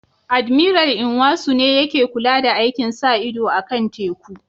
Admiral Nwosu ne yake kula da aikin sa ido kan teku